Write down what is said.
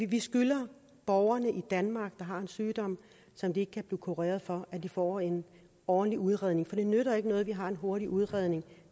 vi skylder borgerne i danmark der har en sygdom som de ikke kan blive kureret for at de får en ordentlig udredning det nytter ikke noget at vi har en hurtig udredning